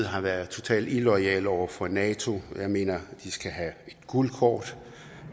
har været totalt illoyal over for nato og jeg mener at de skal have et gult kort